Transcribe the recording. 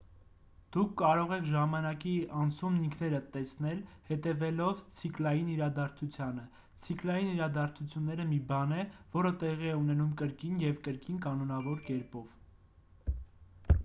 դուք կարող եք ժամանակի անցումն ինքներդ տեսնել հետևելով ցիկլային իրադարձությանը ցիկլային իրադարձությունը մի բան է որը տեղի է ունենում կրկին և կրկին կանոնավոր կերպով